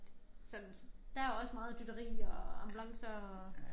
Sådan der også meget dytteri og ambulancer og